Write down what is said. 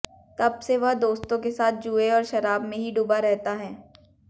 तब से वह दोस्तों के साथ जुए और शराब में ही डूबा रहता है